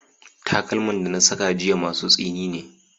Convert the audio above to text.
Takalman da na saka jiya masu tsini ne.